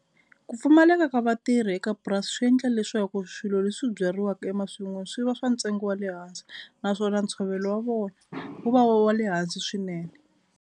Ku pfumaleka ka vatirhi eka purasi swi endla leswaku swilo leswi byariwaka emasin'wini swi va swa ntsengo wa le hansi naswona ntshovelo wa vona wu va wa le hansi swinene.